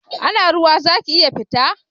Ana ruwa zaki iya fita?